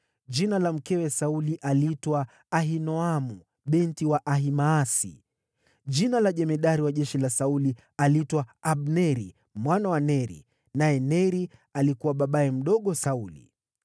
Jina la mkewe Sauli aliitwa Ahinoamu binti wa Ahimaasi. Jina la jemadari wa jeshi la Sauli aliitwa Abneri mwana wa Neri, naye Neri alikuwa babaye mdogo Sauli.